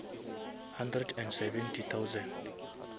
hundred and seventy thousand